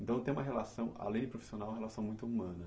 Então, tem uma relação, além de profissional, uma relação muito humana.